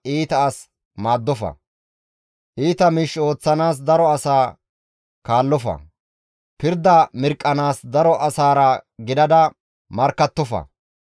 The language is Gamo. «Iita miish ooththanaas daro asa kaallofa; pirda mirqqanaas daro asaara gidada markkattofa.